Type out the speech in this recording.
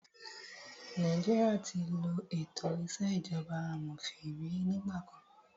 Nàìjíríà tí ló ètò ìṣèjọba amòfin rí nígbà kan.